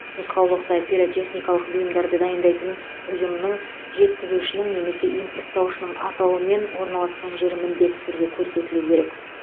нұсқаулықта пиротехникалық бұйымдарды дайындайтын ұйымның жеткізушінің немесе импорттаушының атауы мен орналасқан жері міндетті түрде көрсетілуі керек